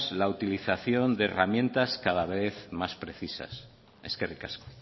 la utilización de herramientas cada vez más precisas eskerrik asko